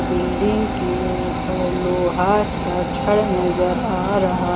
building के ऊपर लोहा छड़ छड़ नजर आ रहा--